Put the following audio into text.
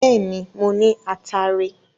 Bẹ́ẹ̀ ni, mo ní ataare.